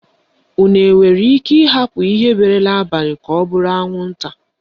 Unu nwere ike ịhapụ ihe bere n'abalị ka ọ bụrụ anwụnta.